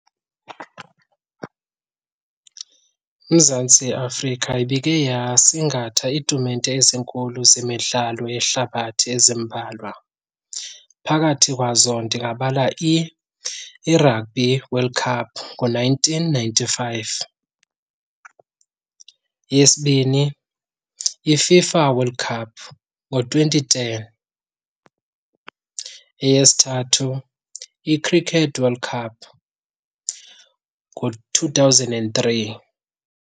UMzantsi Afrika ibike yasingatha iitumente ezinkulu zemidlalo yehlabathi ezimbalwa. Phakathi kwazo ndingabala iRugby World Cup ngo-nineteen ninety-five, eyesibini iFIFA World Cup ngo-twenty ten, eyesithathu iCricket World Cup ngo-two thousand and three.